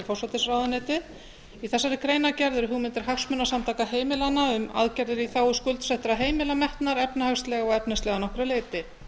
forsætisráðuneytið í þessari greinargerð eru hugmyndir hagsmunasamtaka heimilanna um aðgerðir í þágu skuldsettra heimila metnar efnahagslega og efnislega að nokkru leyti